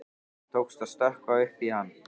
Tókst að stökkva upp í hann.